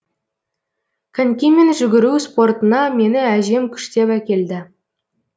конькимен жүгіру спортына мені әжем күштеп әкелді